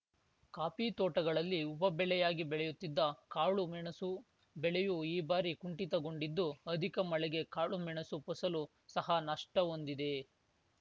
coffee ತೋಟಗಳಲ್ಲಿ ಉಪ ಬೆಳೆಯಾಗಿ ಬೆಳೆಯುತ್ತಿದ್ದ ಕಾಳು ಮೆಣಸು ಬೆಳೆಯೂ ಈ ಬಾರಿ ಕುಂಠಿತಗೊಂಡಿದ್ದು ಅಧಿಕ ಮಳೆಗೆ ಕಾಳುಮೆಣಸು ಫಸಲು ಸಹ ನಷ್ಟಹೊಂದಿದೆ